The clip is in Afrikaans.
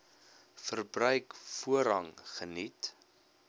verbruik voorrang geniet